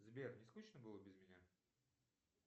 сбер не скучно было без меня